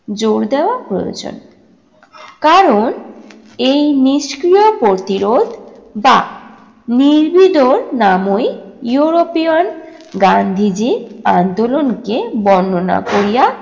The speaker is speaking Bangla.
জোর দেওয়া প্রয়োজন। কারণ এই নিষ্ক্রিয় প্রতিরোধ বা নির্বিরোধ নামই ইউরোপীয়ন গান্ধীজির আন্দোলনকে বর্ণনা করিয়া